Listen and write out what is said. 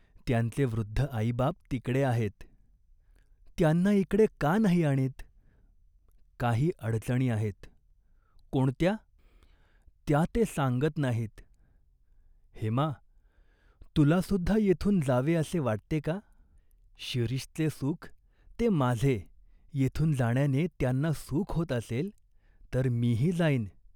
त्यांचे वृद्ध आईबाप तिकडे आहेत." "त्यांना इकडे का नाही आणीत ?" "काही अडचणी आहेत." "कोणत्या ?" "त्या ते सांगत नाहीत." "हेमा, तुलासुद्धा येथून जावे असे वाटते का ?" "शिरीषचे सुख ते माझे येथून जाण्याने त्यांना सुख होत असेल, तर मीही जाईन.